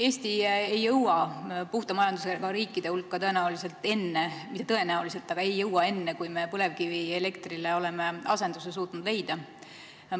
Eesti ei jõua puhta majandusega riikide hulka tõenäoliselt enne – mitte tõenäoliselt, vaid ta ei jõuagi enne –, kui me oleme suutnud põlevkivielektrile asenduse leida.